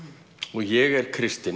og ég er Kristinn